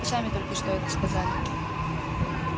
вы сами только что это сказали